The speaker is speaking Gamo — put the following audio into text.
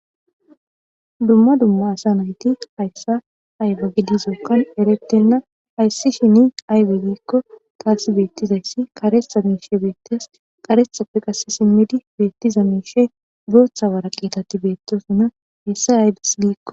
Dumma dumma asa nayti hayssa ayge gidizookkan erettenna hayssi shini aybe giikko taasi beettizayssi karetha miishe beettes qarethappe qasse simmidi beettiza miishe booththa wara qitati beettosanna hessa aybes giikko.